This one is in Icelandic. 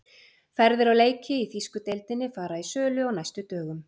Ferðir á leiki í þýsku deildinni fara í sölu á næstu dögum.